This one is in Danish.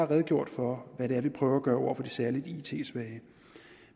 redegjort for hvad det er vi prøver at gøre over for de særlig it svage